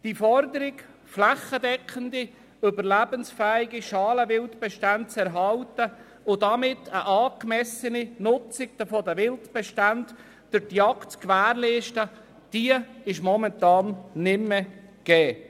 Die Forderung, flächendeckende, überlebensfähige Schalenwildbestände zu erhalten und damit eine angemessene Nutzung der Wildbestände durch die Jagd zu gewährleisten, ist momentan nicht mehr erfüllt.